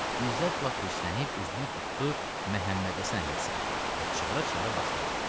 İzzət lap hirslənib üzünü tutdu Məhəmməd Həsən əmiyə səmt və çığıra-çığıra başladı.